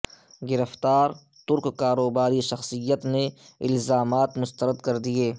گرفتار ترک کاروباری شخصیت نے الزامات مسترد کر دئیے